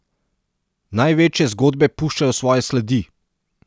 Največje zgodbe puščajo svoje sledi!